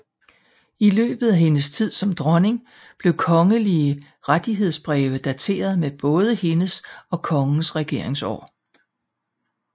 I løbet af hendes tid som dronning blev kongelige rettighedsbreve dateret med både hendes og kongens regeringsår